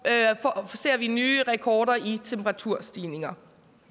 ser vi nye rekorder i temperaturstigninger